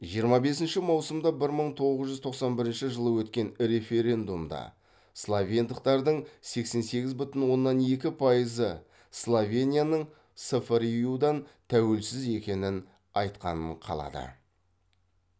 жиырма бесінші маусымда бір мың тоғыз жүз тоқсан бірінші жылы өткен референдумда словендықтардың сексен сегіз бүтін оннан екі пайызы словенияның сфрю дан тәуелсіз екенін айтқанын қалады